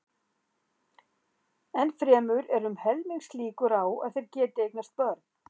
Enn fremur eru um helmingslíkur á að þeir geti eignast börn.